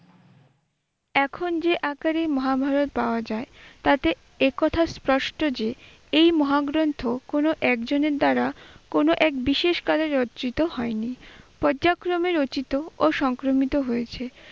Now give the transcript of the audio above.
এখন যে আকারে মহাভারত পাওয়া যায় তাতে এ কথা স্পষ্ট যে এই মহাগ্রন্থ কোন একজনের দ্বারা কোন এক বিশেষ কাজে রচিত হয়নি, পর্যায়ক্রমে রচিত ও সংক্রমিত হয়েছে।